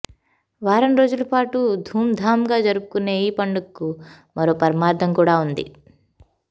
వారంరోజుల పాటు ధూంధాంగా జరుపుకొనే ఈ పండుగకు మరో పరమార్థం కూడా ఉంది